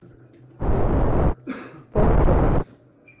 пол томас